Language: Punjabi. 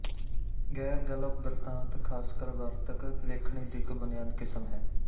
ਗ਼ੈਰਗਲਪਬਿਰਤਾਂਤ ਖ਼ਾਸਕਰ ਵਾਰਤਕ ਲੇਖਣੀ ਦੀ ਇੱਕ ਬੁਨਿਆਦੀ ਕਿਸਮ ਹੈ